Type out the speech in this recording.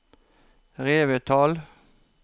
Revetal